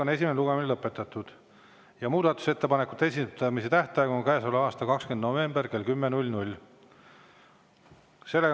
Esimene lugemine on lõpetatud ja muudatusettepanekute esitamise tähtaeg on käesoleva aasta 20. november kell 10.